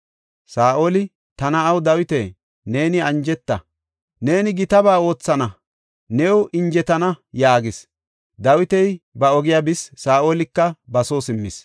Saa7oli, “Ta na7aw, Dawita, neeni anjeta. Neeni gitaba oothana; new injetana” yaagis. Dawiti ba ogiya bis; Saa7olika ba soo simmis.